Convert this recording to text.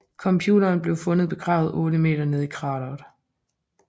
Computeren blev fundet begravet otte meter nede i krateret